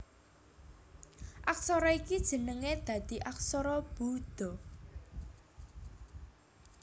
Aksara ini jenengé dadi aksara Buda